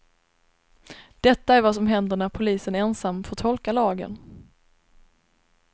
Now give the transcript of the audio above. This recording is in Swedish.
Detta är vad som händer när polisen ensam får tolka lagen.